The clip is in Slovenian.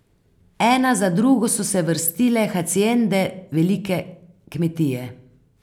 Ena za drugo so se vrstile haciende, velike kmetije.